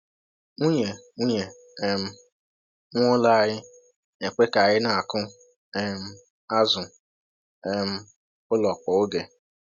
Nwunye Nwunye um nwe ụlọ anyị na-ekwe ka anyị na-akụ um azụ um ụlọ kwa oge.